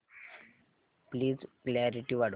please clarity वाढव